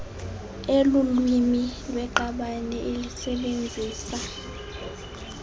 elulwimini lweqabane elisebenzisa